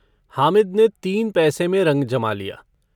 हामिद ने तीन पैसे में रंग जमा लिया।